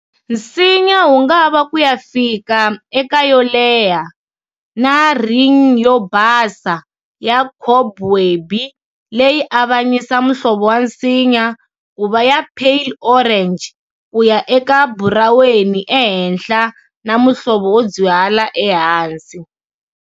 Nsinya wungava kuya fika eka yo leha, na ring yo basa ya cobwebby leyi avanyisa muhlovo wa nsinya kuva ya pale orange kuya eka buraweni ehenhla, na muhlovo wo dzwihala ehansi.